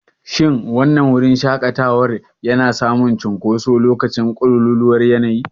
Shin wannan wurin shaƙatawa yana samun cunkoso a lokacin ƙololuwar yanayi?